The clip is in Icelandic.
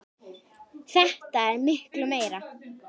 Þetta er miklu meira.